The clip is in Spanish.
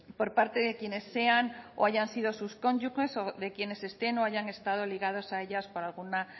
por parte de quienes sean o hayan sido sus cónyuges o de quienes estén o hayan estado ligados a ellas por alguna